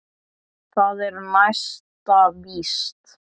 Það er næsta víst.